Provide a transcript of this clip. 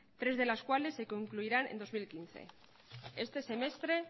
tres de las cuales se concluirán en dos mil quince este semestre